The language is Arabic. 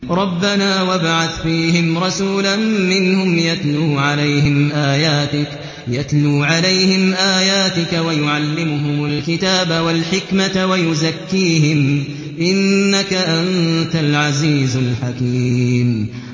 رَبَّنَا وَابْعَثْ فِيهِمْ رَسُولًا مِّنْهُمْ يَتْلُو عَلَيْهِمْ آيَاتِكَ وَيُعَلِّمُهُمُ الْكِتَابَ وَالْحِكْمَةَ وَيُزَكِّيهِمْ ۚ إِنَّكَ أَنتَ الْعَزِيزُ الْحَكِيمُ